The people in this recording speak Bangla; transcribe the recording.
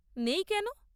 নেই কেন?